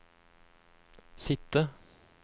sitte